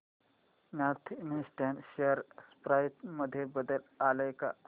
north eastern share price मध्ये बदल आलाय का